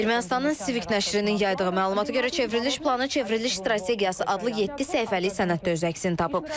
Ermənistanın n_nəşrinin yaydığı məlumata görə çevriliş planı çevriliş strategiyası adlı yeddi səhifəli sənətdə öz əksini tapıb.